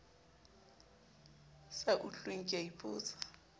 sa utlweng ke a ipotsa